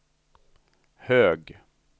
hög